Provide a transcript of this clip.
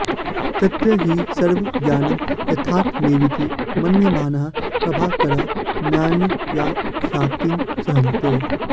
तत्र हि सर्वं ज्ञानं यथार्थमेवेति मन्यमानाः प्राभाकराः नान्यथाख्यातिं सहन्ते